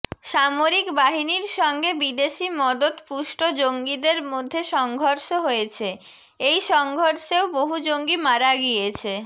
সামরিক বাহিনীর সঙ্গে বিদেশী মদতপুষ্ট জঙ্গিদের মধ্যে সংঘর্ষ হয়েছে এই সংঘর্ষেও বহু জঙ্গি মারা গিয়েছে